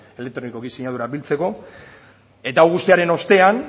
elektronikoki sinadurak biltzeko eta hau guztiaren ostean